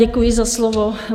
Děkuji za slovo.